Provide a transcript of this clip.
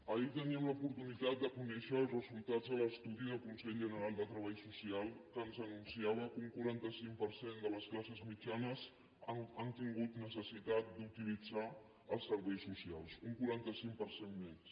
ahir teníem l’oportunitat de conèixer els resultats de l’estudi del consell general del treball social que ens anunciava que un quaranta cinc per cent de les classes mitjanes han tingut necessitat d’utilitzar els serveis socials un quaranta cinc per cent més